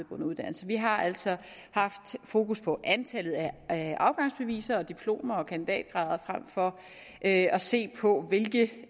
uddannelse vi har altså haft fokus på antallet af afgangsbeviser diplomer og kandidatgrader frem for at at se på hvilke